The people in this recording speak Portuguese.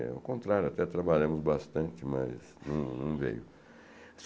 Ao contrário, até trabalhamos bastante, mas não não veio.